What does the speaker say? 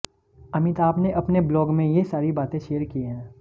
अमिताभ ने अपने ब्लॉग में ये सारी बातें शेयर की है